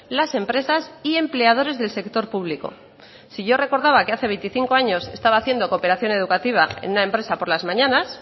las empresas y empleadores del sector público si yo recordaba que hace veinticinco años estaba haciendo cooperación educativa en una empresa por las mañanas